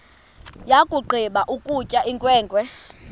yakugqiba ukutya inkwenkwe